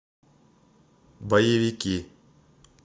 боевики